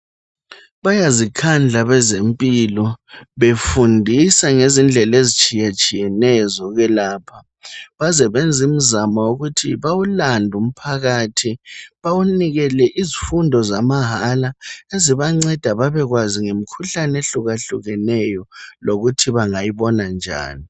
bayazikhandla abezempilo befundisa ngezindlela ezitshiyetshiyeneyo zokwelapha baze benze imzamo wokuthi bawulande umphakathi bawunikele izifundo zamahala ezibanceda babekwazi ngemikhuhlane ehlukahlukeneyo lokuthi bengayibona njani